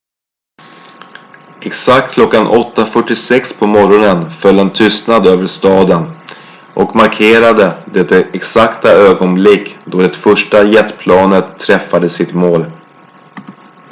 exakt klockan 8.46 på morgonen föll en tystnad över staden och markerade det exakta ögonblick då det första jetplanet träffade sitt mål